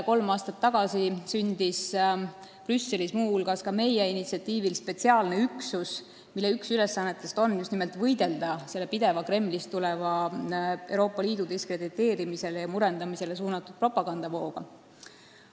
Kolm aastat tagasi sündis Brüsselis muu hulgas ka meie initsiatiivil spetsiaalne üksus, mille üks ülesannetest on just nimelt võidelda selle pideva Kremlist tuleva Euroopa Liidu diskrediteerimisele ja murendamisele suunatud propagandavooga.